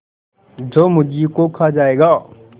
जो मुझी को खा जायगा